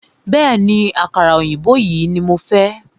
Bẹ̀ẹ́ni, àkàrà òyìnbó yìí ní mo fẹ́.